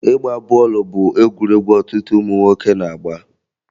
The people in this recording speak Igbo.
Ịgba bọọlụ bụ egwuregwu ọtụtụ ụmụ nwoke na-agba